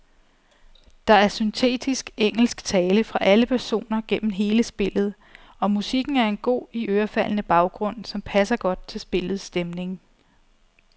Der er syntetisk engelsk tale fra alle personer gennem hele spillet, og musikken er en god, iørefaldende baggrund, som passer godt til spillets stemning.